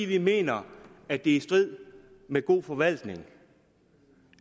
vi mener at det er i strid med god forvaltning